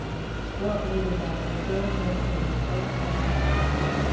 وہ اپنے ریٹائرمنٹ کو جھر کھولنے پر خرچ کرتا ہے